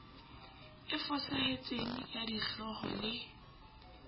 e fosahetseng ya dihlooho le